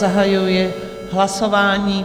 Zahajuji hlasování.